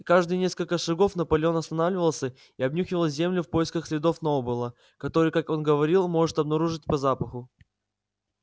каждые несколько шагов наполеон останавливался и обнюхивал землю в поисках следов сноуболла которые как он говорил может обнаружить по запаху